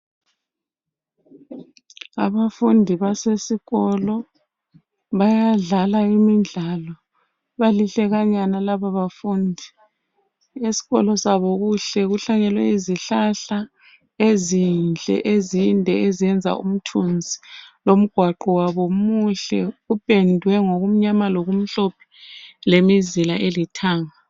Abafundi basesikolo bayadlala imidlalo, baliqhlakanyana labo bafundi. Eskolo sabo kuhlanyelwe izihlahla ezinhle ezenza umthunzi, longwaqo wabo muhle uphendwe ngokumnyama lokumhlophe. Lemizila elithanga.